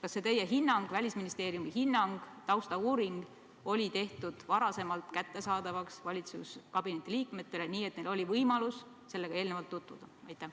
Kas see teie hinnang, Välisministeeriumi hinnang, taustauuring oli valitsuskabineti liikmetele enne kättesaadavaks tehtud, nii et neil oli võimalus sellega eelnevalt tutvuda?